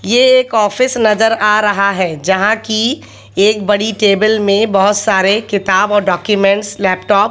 ये एक ऑफिस नजर आ रहा है जहां की एक बड़ी टेबल में बहोत सारे किताब और डॉक्यूमेंटस लैपटॉप --